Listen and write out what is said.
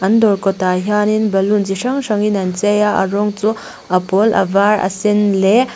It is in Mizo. an dawr kawtah hianin balloon chi hrang hrang in an chei a rawng chu a pawl a var a sen leh--